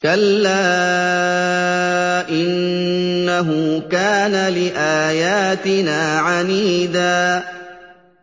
كَلَّا ۖ إِنَّهُ كَانَ لِآيَاتِنَا عَنِيدًا